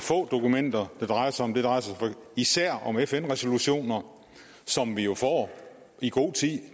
få dokumenter det drejer sig om det drejer sig især om fn resolutioner som vi jo får i god tid